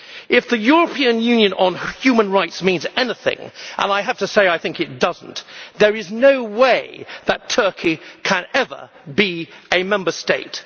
If the European Convention on human rights means anything, and I have to say I think it does not, there is no way that Turkey can be a Member State.